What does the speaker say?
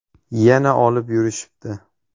Yana olib yurishibdi.